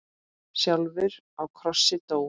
sjálfur á krossi dó.